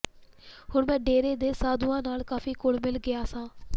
ਹੁਣ ਮੈਂ ਡੇਰੇ ਦੇ ਸਾਧੂਆਂ ਨਾਲ ਕਾਫ਼ੀ ਘੁਲਮਿਲ ਗਿਆ ਸਾਂ